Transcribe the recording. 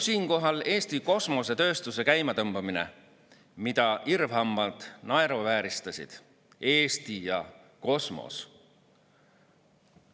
Siinkohal meenub Eesti kosmosetööstuse käimatõmbamine, mida irvhambad naeruvääristasid: "Eesti ja kosmos?